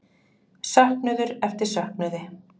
Söknuður eftir söknuði?